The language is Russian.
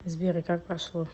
сбер и как прошло